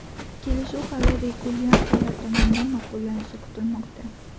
Kelishuv hali regulyatorlar tomonidan ma’qullanishi kutilmoqda.